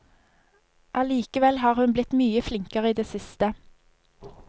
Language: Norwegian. Allikevel har hun blitt mye flinkere i det siste.